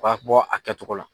b'a bɔ a kɛcogo la.